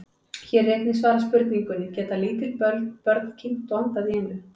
Hér er einnig svarað spurningunni: Geta lítil börn kyngt og andað í einu?